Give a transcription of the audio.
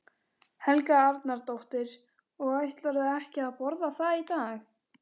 Helga Arnardóttir: Og ætlarðu ekki að borða það í dag?